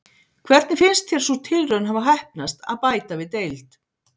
Hvernig finnst þér sú tilraun hafa heppnast að bæta við deild?